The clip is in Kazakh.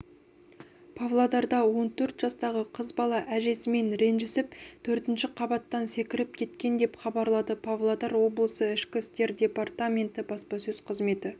павлодарда он төрт жастағы қыз бала әжесімен ренжісіп төртінші қабаттан секіріп кеткен деп хабарлады павлодар облысы ішкі істер департаменті баспасөз қызметі